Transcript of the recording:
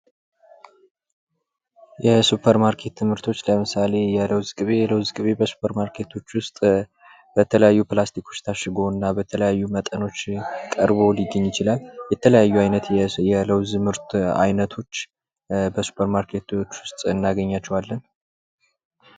የሱፐርማርኬት ምርቶች ለምሳሌ የለውዝ ቅቤ የለውዝ ቅቤ በስፐር ማርኬቶች ውስጥ በተለያዩ ፕላስቲኮች ታሽጎና በተለያዩ መጠኖች ቀርቦ ሊገኝ ይችላል የተለያዩ አይነት የለውዝ ምርት አይነቶች በስፐርማርኬት ውስጥ እናገኛቸዋለን ::